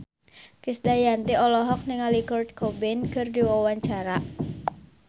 Krisdayanti olohok ningali Kurt Cobain keur diwawancara